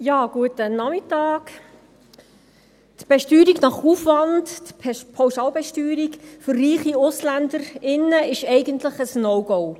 Die Besteuerung nach Aufwand, die Pauschalbesteuerung für reiche Ausländerinnen und Ausländer, ist eigentlich ein No-Go.